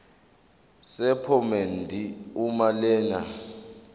sephomedi uma lena